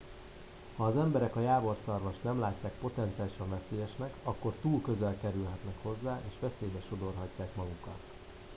ha az emberek a jávorszarvast nem látják potenciálisan veszélyesnek akkor túl közel kerülhetnek hozzá és veszélybe sodorhatják magukat